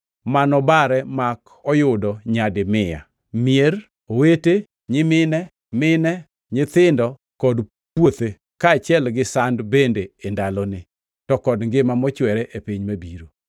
ma nobare mak oyudo nyadi mia: mier, owete, nyimine, mine, nyithindo, kod puothe, kaachiel gi sand bende e ndaloni, to kod ngima mochwere e piny mabiro.